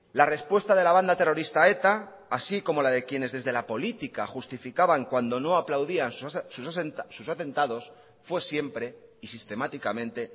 la respuesta de la banda terrorista eta así como la de quienes desde la política justificaban cuando no aplaudían sus atentados fue siempre y sistemáticamente